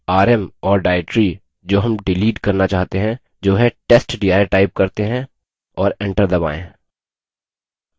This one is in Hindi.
rm और directory जो rm डिलीट करना चाहते हैं जो है testdir type करते हैं और enter दबायें